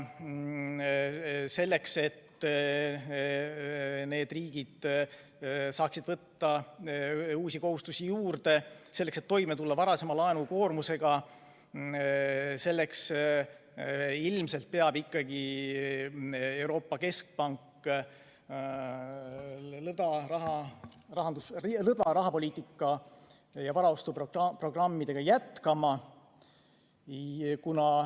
Selleks, et need riigid saaksid võtta uusi kohustusi juurde, et toime tulla varasema laenukoormusega, peab Euroopa Keskpank lõtva rahapoliitikat ja varaostuprogrammi ikkagi jätkama.